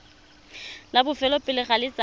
la bofelo pele ga letsatsi